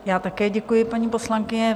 Já také děkuji, paní poslankyně.